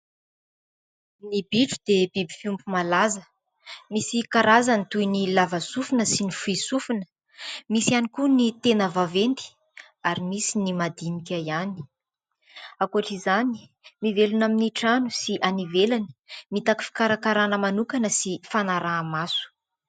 Ny bitro dia biby fiompy malaza. Misy karazany toy ny lava sofina sy ny fohy sofina ; misy ihany koa ny tena vaventy ary misy ny madinika ihany. Ankoatra izany, mivelona amin'ny trano sy any ivelany , mitaky fikarakarana manokana sy fanaraha-maso.